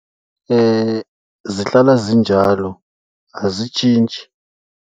Zihlala zinjalo, azitshintshi.